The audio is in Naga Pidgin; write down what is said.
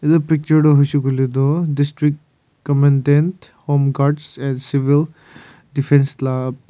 etu picture toh hoishey koiley toh district commandant home guard and civil defence laga.